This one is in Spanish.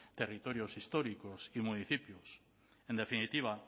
territorios históricos y municipios en definitiva